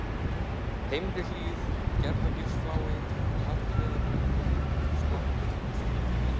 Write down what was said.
Heimrihlíð, Gerðagilsflái, Harðreiðarbrekkur, Slamburfallsflögur